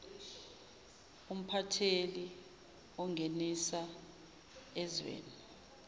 umphatheli ongenisa ezweni